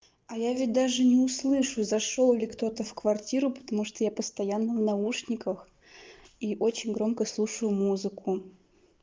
а я ведь даже не услышу зашёл ли кто-то в квартиру потому что я постоянно в наушниках и очень громко слушаю музыку